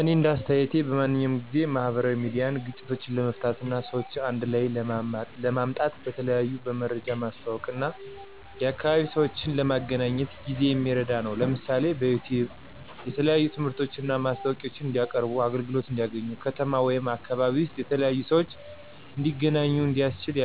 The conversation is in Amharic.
እኔ እንደ አስተያየቴ በማንኛውም ጊዜ፣ ማህበራዊ ሚዲያ ግጭቶችን ለመፍታት እና ሰዎችን አንድ ላይ ለማምጣት በተለይ በመረጃ ማስተዋወቅ እና የአካባቢ ሰዎችን ለመገናኘት ጊዜ የሚረዳ ነው። ለምሳሌ፣ በዩቲዩብ የተለያዩ ትምህርቶችን እና ማስታወቂያዎችን እንዲቀያርቡና አገልግሎት እንዲያገኙ፣ ከተማ ወይም አካባቢ ውስጥ የተለያዩ ሰዎች እንዲተገናኙ እንዲያስችል